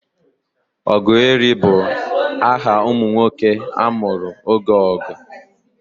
Ogueri bụ aha ụmụ nwoke a mụrụ oge ọgụ.